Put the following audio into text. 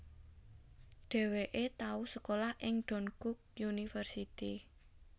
Dheweke tau sekolah ing Dankook University